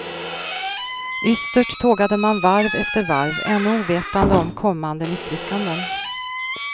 Ystert tågade man varv efter varv, ännu ovetande om kommande misslyckanden.